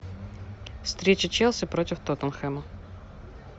встреча челси против тоттенхэма